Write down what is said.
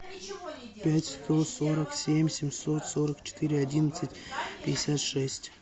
пять сто сорок семь семьсот сорок четыре одиннадцать пятьдесят шесть